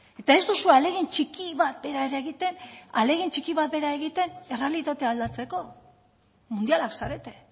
eta ez duzue ahalegin txiki bat bera ere egiten errealitatea aldatzeko mundialak zarete